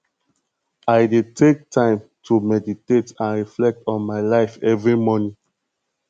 i dey take time to meditate and reflect on my life every morning